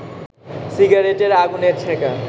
সিগারেটের আগুনের ছ্যাঁকা